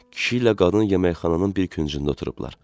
Kişi ilə qadın yeməkxananın bir küncündə oturublar.